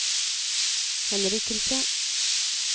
henrykkelse